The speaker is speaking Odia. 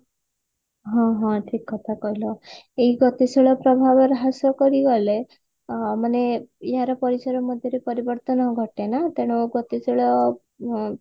ହଁ ହଁ ଠିକ କଥା କହିଲ ଏଇ ଗତିଶୀଳ ପ୍ରଭାବ ହ୍ରାସ କରିଗଲେ ଅ ମାନେ ଏହାର ପରିସର ମଧ୍ୟରେ ପରିବର୍ତନ ଘଟେ ନା ତେଣୁ ଗତିଶୀଳ ଉ ମ